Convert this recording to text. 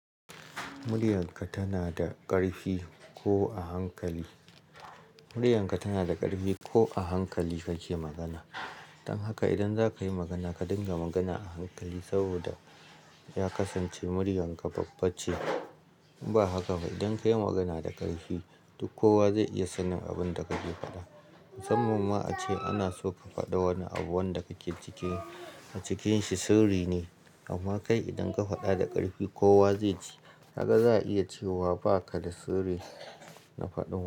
Muryarka tana da ƙarfi ko a hankali. Muryarka tana da ƙarfi ko a hankali kake magana. Dan haka idan zaka yi magana ka dinga magana a hankali saboda ya kasance muryarka babba ce. Ba haka ba idan ka yi magana da ƙarfi duk kowa zai iya sanin abin da kake faɗa. Musamman ma ace ana so ka faɗa wani abu wanda kake cikin-- a cikinsa sirri ne amma kai idan ka faɗa da ƙarfi kowa zai ji. Kaga za a iya cewa baka da sirri na faɗin wa.